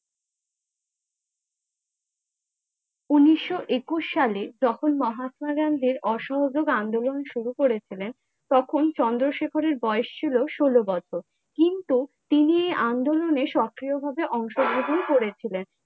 উনিশশো একুশ সালে যখন মহাত্মা গান্ধী অসহযোগ আন্দোলন শুরু করে ছিলেন, তখন চন্দ্রশেখর বয়স ছিলো সলো বছর, কিন্তু তিনি আন্দোলনে সক্রিয় ভাবে অংশগ্রহণ করে ছিলেন।